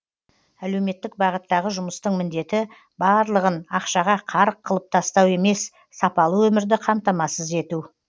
әлеуметтік бағыттағы жұмыстың міндеті барлығын ақшаға қарық қылып тастау емес сапалы өмірді қамтамасыз ету